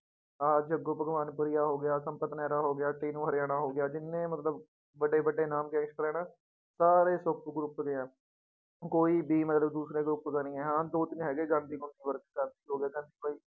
ਆਹ ਹੋ ਗਿਆ ਸੰਪਦ ਮਹਿਰਾ ਹੋ ਗਿਆ, ਸੀਨੂੰ ਹਰਿਆਣਾ ਹੋ ਗਿਆ ਜਿੰਨੇ ਮਤਲਬ ਵੱਡੇ ਵੱਡੇ ਨਾਮ gangster ਹੈ ਨਾ ਸਾਰੇ ਸੋਪੂ group ਦੇ ਹੈ ਕੋਈ ਵੀ ਮਤਲਬ ਦੂਸਰੇ group ਦਾ ਨੀ ਹੈ ਹਾਂ ਦੋ ਤਿੰਨ ਹੈਗੇ ਗਾਂਧੀ